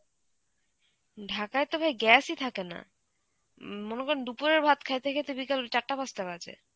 ঢাকায় তো ভাই gas ই থাকে না. উম মনে করুন দুপুরের ভাত খাইতে খাইতে বিকেল চারটে পাঁচটা বাজে.